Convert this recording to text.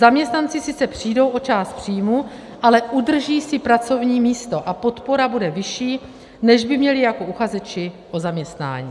Zaměstnanci sice přijdou o část příjmu, ale udrží si pracovní místo a podpora bude vyšší, než by měli jako uchazeči o zaměstnání.